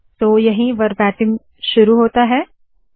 तो यहीं वरबाटीम शुरू होता है